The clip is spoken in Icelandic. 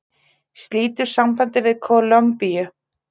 Slítur sambandi við Kólumbíu